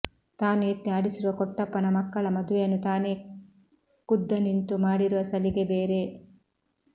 ತಾನು ಎತ್ತಿ ಆಡಿಸಿರುವ ಕೊಟ್ಟಪ್ಪನ ಮಕ್ಕಳ ಮದುವೆಯನ್ನು ತಾನೇ ಖುದ್ದನಿಂತು ಮಾಡಿರುವ ಸಲಿಗೆ ಬೇರೆ